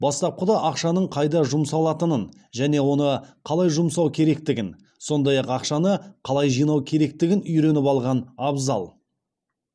бастапқыда ақшаның қайда жұмсалатынын және оны қалай жұмсау керектігін сондай ақ ақшаны қалай жинау керектігін үйреніп алған абзал